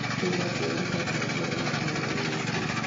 Ndagũthaitha njĩĩra mũthenya wa mbere wa mweri ũyũ ũkĩte